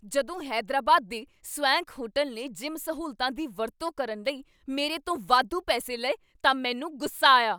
ਜਦੋਂ ਹੈਦਰਾਬਾਦ ਦੇ swank hotel ਨੇ ਜਿਮ ਸਹੂਲਤਾਂ ਦੀ ਵਰਤੋਂ ਕਰਨ ਲਈ ਮੇਰੇ ਤੋਂ ਵਾਧੂ ਪੈਸੇ ਲਏ ਤਾਂ ਮੈਨੂੰ ਗੁੱਸਾ ਆਇਆ।